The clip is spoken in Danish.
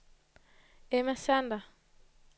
Emma Sander